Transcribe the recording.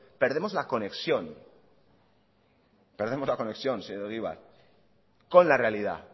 perdemos la conexión perdemos la conexión señor egibar con la realidad